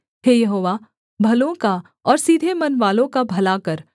हे Jehovah भलों का और सीधे मनवालों का भला कर